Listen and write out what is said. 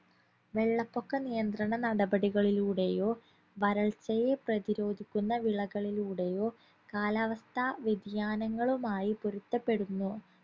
വെള്ളപ്പൊക്ക നിയന്ത്രണ നടപടികളിലൂടെയോ വരൾച്ചയെ പ്രതിരോധിക്കുന്ന വിളകളിലൂടെയോ കാലാവസ്ഥാ വ്യതിയാനങ്ങളുമായി പൊരുത്തപ്പെടുന്നു